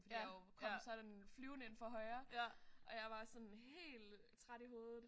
Fordi jeg jo kom sådan flyvende ind fra højre og jeg var sådan helt træt i hovedet